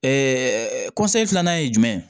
filanan ye jumɛn ye